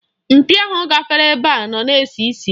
Mkpị ahụ gafere ebe a na-esi isi.